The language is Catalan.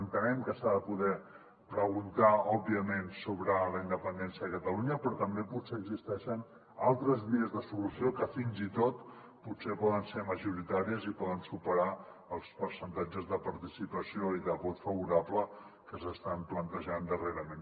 entenem que s’ha de poder preguntar òbviament sobre la independència de catalunya però també potser existeixen altres vies de solució que fins i tot potser poden ser majoritàries i poden superar els percentatges de participació i de vot favorable que s’estan plantejant darrerament